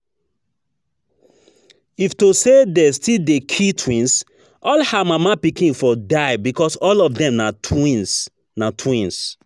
If to say de still dey kill twins, all her mama pikin for die because all of dem na twins na twins